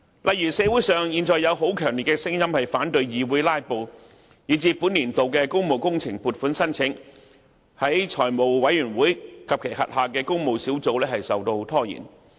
例如，現在社會上有很強烈的聲音反對議員"拉布"，以致本年度的工務工程撥款申請在財務委員會及其轄下的工務小組委員會受到拖延。